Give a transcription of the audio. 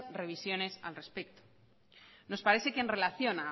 revisiones al respecto nos parece que en relación